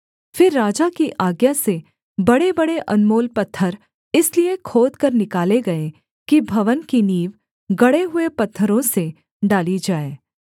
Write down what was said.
फिर राजा की आज्ञा से बड़ेबड़े अनमोल पत्थर इसलिए खोदकर निकाले गए कि भवन की नींव गढ़े हुए पत्थरों से डाली जाए